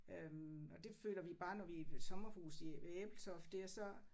Øh og det føler vi bare når vi i sommerhus i ved Ebeltoft dér så